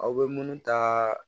Aw bɛ munnu ta